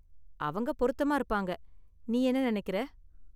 அவங்க பொருத்தமா இருப்பாங்க, நீ என்ன நெனைக்குற?